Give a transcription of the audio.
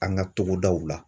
An ka togodaw la.